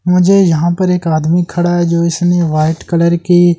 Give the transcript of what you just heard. मुझे यहाँ पर एक आदमी खड़ा है जो इसने व्हाइट कलर की --